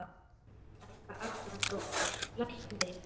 Helga Arnardóttir: Læknirinn?